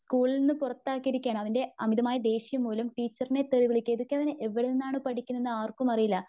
സ്കൂളിൽനിന്ന് പുറത്താക്കിയിരിക്കുവാണ്. അവന്റെ അമിതമായ ദേഷ്യം മൂലം. ടീച്ചറിനെ തെറി വിളിക്കുക ഇതൊക്കെ അവനു എവിടെ നിന്നാണ് പഠിക്കുന്നതെന്നു ആർക്കും അറിയില്ല .